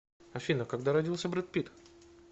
афина когда родился брэд питт